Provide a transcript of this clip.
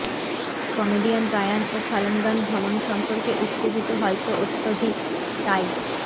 comedian Ryan ও ফালানগন ভ্রমণ সম্পর্কে উত্তেজিত হয়তো অত্যধিক তাই